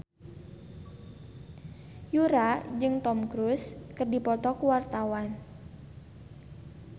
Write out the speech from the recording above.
Yura jeung Tom Cruise keur dipoto ku wartawan